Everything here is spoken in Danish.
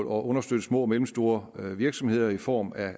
understøtte små og mellemstore virksomheder i form af